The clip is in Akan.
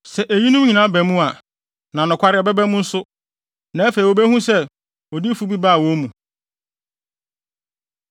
“Sɛ eyinom nyinaa ba mu a, na nokware ɛbɛba mu nso, na afei wobehu sɛ odiyifo bi baa wɔn mu.”